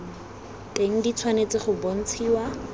teng di tshwanetse go bontshiwa